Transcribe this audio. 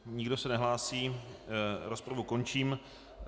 Nikdo se nehlásí, rozpravu končím.